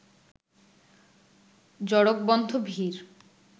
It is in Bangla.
জড়কবন্ধ ভিড়